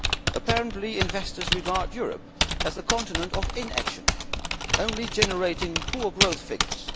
Apparently, investors regard Europe as the continent of inaction, only generating poor growth figures.